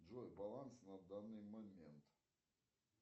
джой баланс на данный момент